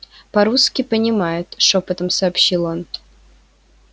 по русски понимают шёпотом сообщил он